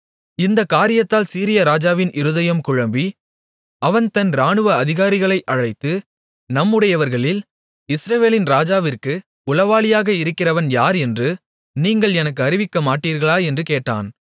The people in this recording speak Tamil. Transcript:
இந்தக் காரியத்தால் சீரிய ராஜாவின் இருதயம் குழம்பி அவன் தன் இராணுவ அதிகாரிகளை அழைத்து நம்முடையவர்களில் இஸ்ரவேலின் ராஜாவிற்கு உளவாளியாக இருக்கிறவன் யார் என்று நீங்கள் எனக்கு அறிவிக்கமாட்டீர்களா என்று கேட்டான்